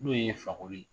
N'o ye fakoli ye